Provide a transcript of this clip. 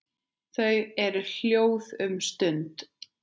Þau eru hljóð um stund.